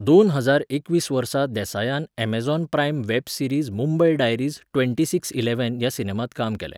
दोन हजार एकवीस वर्सा देसायान Amazon prime web series Mumbai diaries ट्वँटी सिक्सइलॅव्हॅन ह्या सिनेमांत काम केलें.